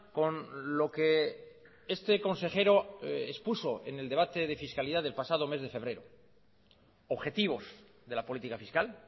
con lo que este consejero expuso en el debate de fiscalidad del pasado mes de febrero objetivos de la política fiscal